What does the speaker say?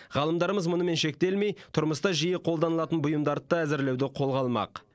ғалымдарымыз мұнымен шектелмей тұрмыста жиі қолданылатын бұйымдарды да әзірлеуді қолға алмақ